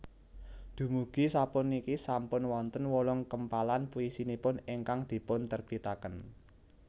Dumugi sapuniki sampun wonten wolung kempalan puisinipun ingkang dipunterbitaken